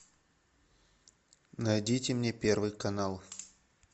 найдите мне первый канал